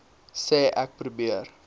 sê ek probeer